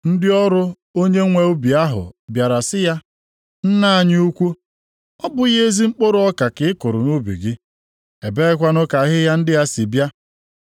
“Ndị ọrụ onye nwe ubi ahụ bịara sị ya, ‘Nna anyị ukwu, ọ bụghị ezi mkpụrụ ọka ka ị kụrụ nʼubi gị? Ebeekwanụ ka ahịhịa ndị a si bịa?’